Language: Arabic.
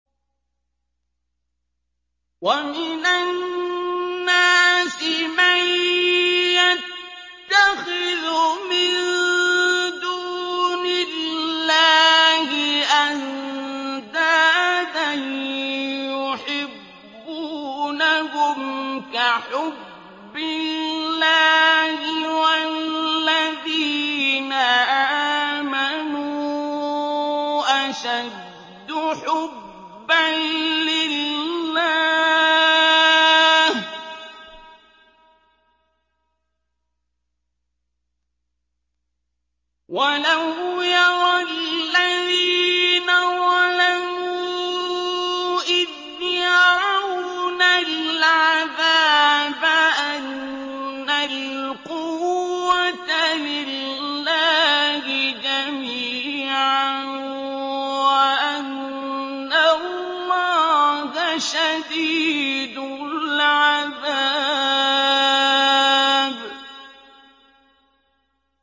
وَمِنَ النَّاسِ مَن يَتَّخِذُ مِن دُونِ اللَّهِ أَندَادًا يُحِبُّونَهُمْ كَحُبِّ اللَّهِ ۖ وَالَّذِينَ آمَنُوا أَشَدُّ حُبًّا لِّلَّهِ ۗ وَلَوْ يَرَى الَّذِينَ ظَلَمُوا إِذْ يَرَوْنَ الْعَذَابَ أَنَّ الْقُوَّةَ لِلَّهِ جَمِيعًا وَأَنَّ اللَّهَ شَدِيدُ الْعَذَابِ